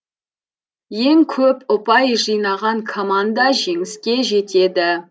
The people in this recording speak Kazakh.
ең көп ұпай жинаған команда жеңіске жетеді